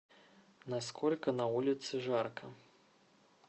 на сколько на улице жарко